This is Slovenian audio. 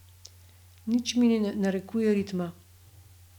Nič mi ne narekuje ritma.